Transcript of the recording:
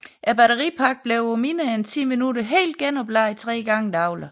Batteripakken blev på mindre end 10 minutter helt genopladt tre gange dagligt